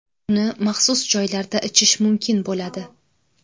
Uni maxsus joylarda ichish mumkin bo‘ladi.